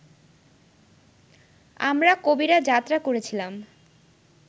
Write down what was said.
আমরা কবিরা যাত্রা করেছিলাম